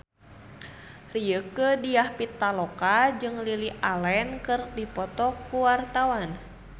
Rieke Diah Pitaloka jeung Lily Allen keur dipoto ku wartawan